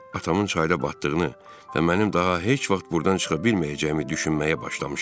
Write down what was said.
Atamın çayda batdığını və mənim daha heç vaxt burdan çıxa bilməyəcəyimi düşünməyə başlamışdım.